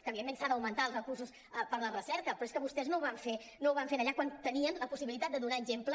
que evidentment s’han d’augmentar els recursos per la recerca però és que vostès no ho van fer allà quan tenien la possibilitat de donar exemple